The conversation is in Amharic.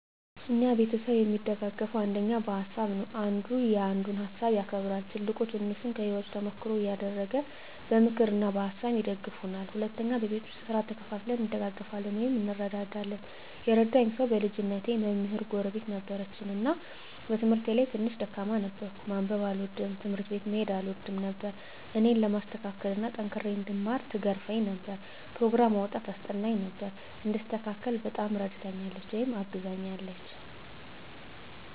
እኛ ቤተሰብ እሚደጋገፈዉ አንደኛ በሀሳብ ነዉ። አንዱ ያንዱን ሀሳብ ያከብራል፣ ትልቁ ትንሹን ከህይወቱ ተሞክሮ እያደረገ በምክር እና በሀሳብ ይደግፉናል። ሁለተኛ በቤት ዉስጥ ስራ ተከፋፍለን እንደጋገፋለን (እንረዳዳለን) ። የረዳኝ ሰዉ በልጅነቴ መምህር ጎረቤት ነበረችን እና በትምህርቴ ላይ ትንሽ ደካማ ነበርኩ፤ ማንበብ አልወድም፣ ትምህርት ቤት መሄድ አልወድም ነበር እኔን ለማስተካከል እና ጠንክሬ እንድማር ትገርፈኝ ነበር፣ ኘሮግራም አዉጥታ ታስጠናኝ ነበር፣ እንድስተካከል በጣም እረድታኛለች(አግዛኛለች) ።